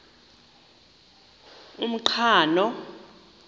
umqhano